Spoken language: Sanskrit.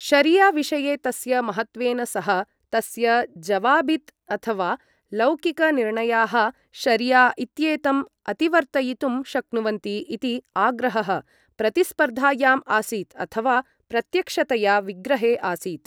शरिया विषये तस्य महत्त्वेन सह, तस्य ज़वाबित् अथवा लौकिकनिर्णयाः शरिया इत्येतम् अतिवर्तयितुं शक्नुवन्ति इति आग्रहः प्रतिस्पर्धायाम् आसीत् अथवा प्रत्यक्षतया विग्रहे आसीत्।